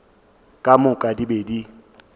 ka moka di be di